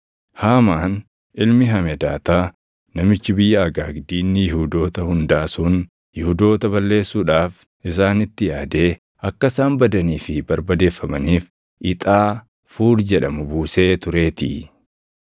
Haamaan ilmi Hamedaataa namichi biyya Agaag diinni Yihuudoota hundaa sun Yihuudoota balleessuudhaaf isaanitti yaadee akka isaan badanii fi barbadeeffamaniif ixaa Fuur jedhamu buusee tureetii.